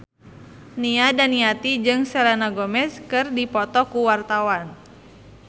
Nia Daniati jeung Selena Gomez keur dipoto ku wartawan